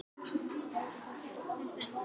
Hann gat ekki annað en hlegið.